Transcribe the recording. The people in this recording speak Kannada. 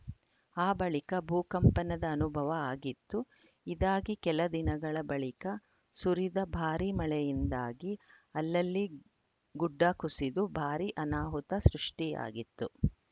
ಆ ಬಳಿಕ ಭೂಕಂಪನದ ಅನುಭವ ಆಗಿತ್ತು ಇದಾಗಿ ಕೆಲದಿನಗಳ ಬಳಿಕ ಸುರಿದ ಭಾರೀ ಮಳೆಯಿಂದಾಗಿ ಅಲ್ಲಲ್ಲಿ ಗುಡ್ಡಕುಸಿದು ಭಾರೀ ಅನಾಹುತ ಸೃಷ್ಟಿಯಾಗಿತ್ತು